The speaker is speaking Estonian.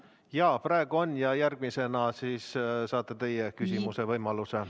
Jaa, praegu on ja järgmisena siis saate teie küsimise võimaluse.